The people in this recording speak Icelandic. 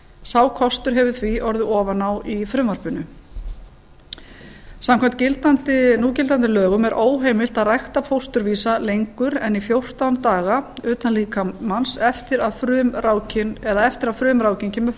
sá kostur hefur því orðið ofan á í frumvarpinu samkvæmt núgildandi lögum er óheimilt að rækta fósturvísa lengur en í fjórtán daga utan líkamans eftir að frumrákin kemur